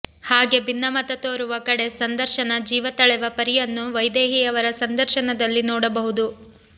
ಹಾಗೆ ಭಿನ್ನಮತ ತೋರುವ ಕಡೆ ಸಂದರ್ಶನ ಜೀವ ತಳೆವ ಪರಿಯನ್ನು ವೈದೇಹಿಯವರ ಸಂದರ್ಶನದಲ್ಲಿ ನೋಡಬಹುದು